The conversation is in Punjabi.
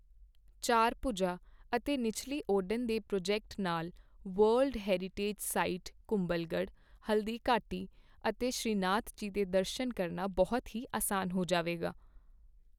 ਚਾਰਭੁਜਾ ਅਤੇ ਨਿਚੱਲੀ ਓਡਨ ਦੇ ਪ੍ਰੋਜੈਕਟ ਨਾਲ world heritage site Kumbhalgarh, Haldighati ਅਤੇ ਸ਼੍ਰੀਨਾਥਜੀ ਦੇ ਦਰਸ਼ਨ ਕਰਨਾ ਬਹੁਤ ਹੀ ਅਸਾਨ ਹੋ ਜਾਵੇਗਾ।